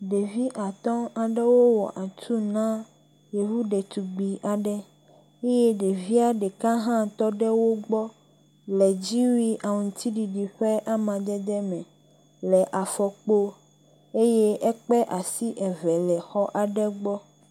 ɖevi atɔ ɖewo wɔ atu na yovu ɖetugbi aɖe ye ɖevia ɖeka hã tɔɖe wógbɔ le dziwui aŋtsiɖiɖi ƒe amadede me le afɔkpo ye ekpe asi eve le xɔ aɖe gbɔ